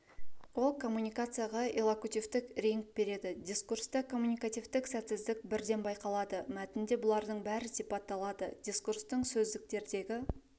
ол коммуникацияға иллокутивтік реңк береді дискурста коммуникативтік сәтсіздік бірден байқалады мәтінде бұлардың бәрі сипатталады дикурстың сөздіктердегі